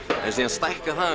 stækkar það